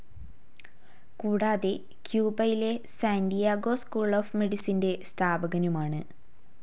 കൂടാതെ ക്യുബയിലെ Santiago school of മെഡിസിന്റെ സ്ഥാപകനുമാണ്.